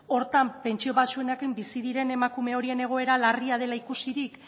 horretan pentsio baxuenak bizi diren emakume horien egoera larria dela ikusirik